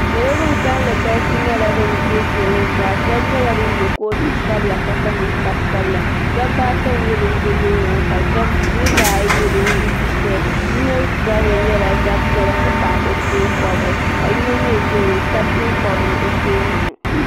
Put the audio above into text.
Salo ban kalli galisi nyɛla ban dee kpeŋɔ zaa sheba nyɛla ban ye Kootu sabila ka kpa ninkpari sabila dobba ata n nyɛ ban be loorini ka niriba ayi n nyɛ ban yiɣisi ʒɛya yino zabiri nyɛla zab'piɛlla n ti pahi o teenkobiri ka yino mee ʒeya o ka teenkobiri o teenga ni.